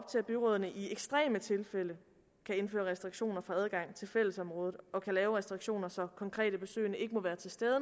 til at byrådene i ekstreme tilfælde kan indføre restriktioner for adgang til fællesområder og kan lave restriktioner så konkrete besøgende ikke må være til stede